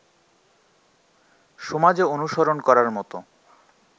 সমাজে অনুসরণ করার মত